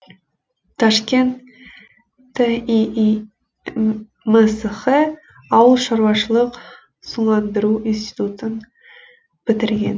ташкент тииимсх ауыл шаруашылық суландыру институтын бітірген